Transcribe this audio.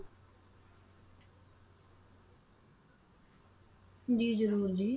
ਜੀ ਜ਼ਰੂਰ ਜੀ।